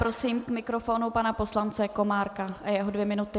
Prosím k mikrofonu pana poslance Komárka a jeho dvě minuty.